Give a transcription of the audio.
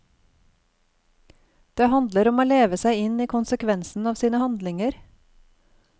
Det handler om å leve seg inn i konsekvensen av sine handlinger.